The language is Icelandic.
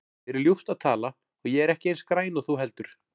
Mér er ljúft að tala og ég er ekki eins græn og þú heldur.